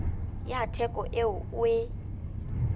ya theko eo o e